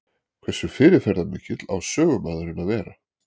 Hversu fyrirferðarmikill á sögumaðurinn að vera?